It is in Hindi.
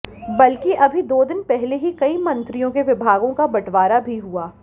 बल्कि अभी दो दिन पहले ही कई मंत्रियों के विभागों का बंटवारा भी हुआ